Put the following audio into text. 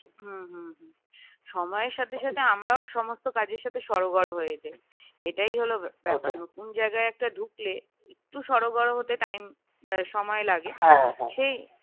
সময়ের সাথে সাথে আমরাও সমস্ত কাজের সাথে সরোগর হয়ে যায় এটাই হল ব্যাপার ওটাই নতুন জায়গায় একটা ঢুকলে একটু সরোগর হতে time সময় লাগে